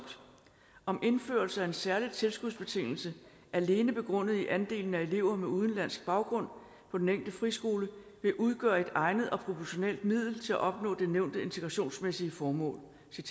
om indførelse af en særlig tilskudsbetingelse alene begrundet i andelen af elever med udenlandsk baggrund på den enkelte friskole vil udgøre et egnet og proportionalt middel til at opnå det nævnte integrationsmæssige formål